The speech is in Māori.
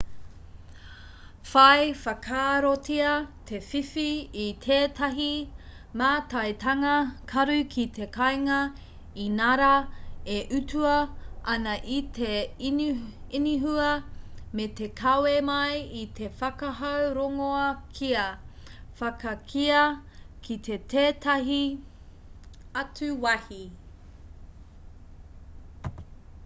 whai whakaarotia te whiwhi i tētahi mātaitanga karu ki te kāinga inarā e utua ana e te inihua me te kawe mai i te whakahau rongoā kia whakakīia ki tētahi atu wāhi